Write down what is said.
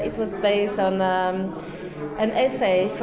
lýtur út eins